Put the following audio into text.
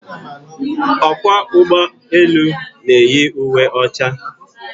Ọkwọ ụgbọelu na-eyi uwe ọcha.